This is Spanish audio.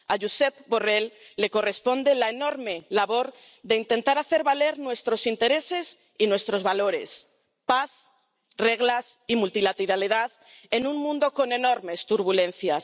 A Josep Borrell le corresponde la enorme labor de intentar hacer valer nuestros intereses y nuestros valores paz, reglas y multilateralidad en un mundo con enormes turbulencias.